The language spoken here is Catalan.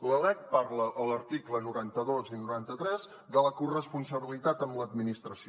la lec parla a l’article noranta dos i noranta tres de la corresponsabilitat amb l’administració